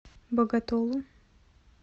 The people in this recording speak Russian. боготолу